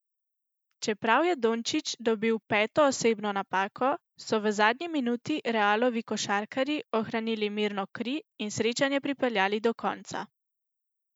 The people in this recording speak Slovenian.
Čeprav je Dončić dobil peto osebno napako, so v zadnji minuti Realovi košarkarji ohranili mirno kri in srečanje pripeljali do konca.